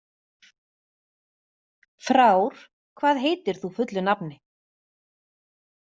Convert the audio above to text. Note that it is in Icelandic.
Frár, hvað heitir þú fullu nafni?